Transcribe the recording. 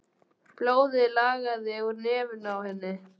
Blóðið lagaði úr nefinu á henni.